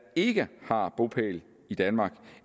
ikke har bopæl i danmark